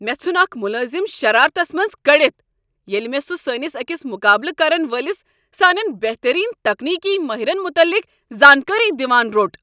مےٚ ژھن اکھ ملٲزم شرارتس منز کٔڑتھ ییٚلہ مےٚ سہُ سٲنس أکس مقابلہٕ کرن وٲلس سانین بہترین تکنیکی ماہرن متعلق زانکٲری دوان روٚٹ۔